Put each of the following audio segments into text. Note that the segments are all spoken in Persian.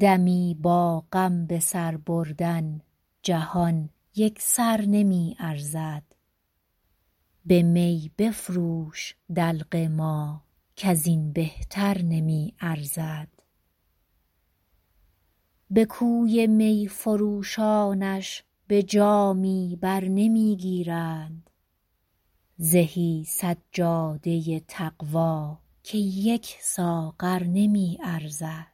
دمی با غم به سر بردن جهان یک سر نمی ارزد به می بفروش دلق ما کز این بهتر نمی ارزد به کوی می فروشانش به جامی بر نمی گیرند زهی سجاده تقوا که یک ساغر نمی ارزد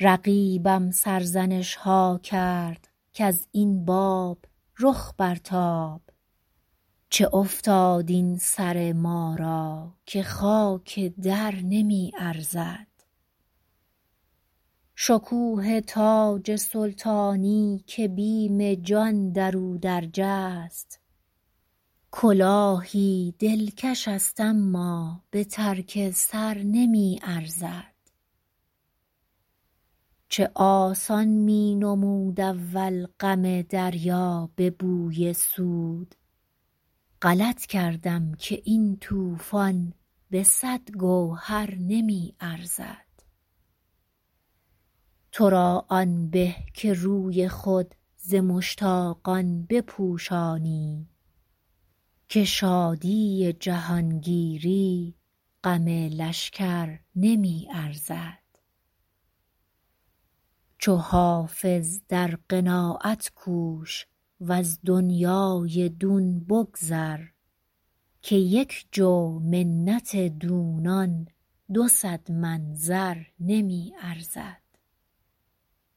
رقیبم سرزنش ها کرد کز این باب رخ برتاب چه افتاد این سر ما را که خاک در نمی ارزد شکوه تاج سلطانی که بیم جان در او درج است کلاهی دلکش است اما به ترک سر نمی ارزد چه آسان می نمود اول غم دریا به بوی سود غلط کردم که این طوفان به صد گوهر نمی ارزد تو را آن به که روی خود ز مشتاقان بپوشانی که شادی جهانگیری غم لشکر نمی ارزد چو حافظ در قناعت کوش و از دنیای دون بگذر که یک جو منت دونان دو صد من زر نمی ارزد